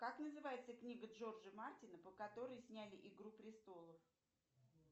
как называется книга джорджа мартина по которой сняли игру престолов